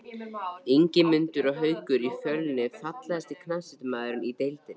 Ingimundur og Haukur í Fjölni Fallegasti knattspyrnumaðurinn í deildinni?